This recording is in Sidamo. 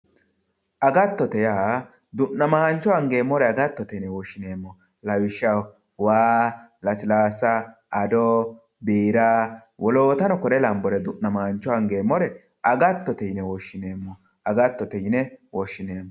Agattote yaa du'namancho angeemmore agattote yinne woshshineemmo lawishshaho waa, lasilasa ,ado, biira woloottano kuri lanbore angeemmore du'namancho agattote yinne woshshineemmo, agattote yinne woshshineemmo.